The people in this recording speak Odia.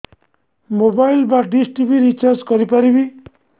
ମୋବାଇଲ୍ ବା ଡିସ୍ ଟିଭି ରିଚାର୍ଜ କରି ପାରିବି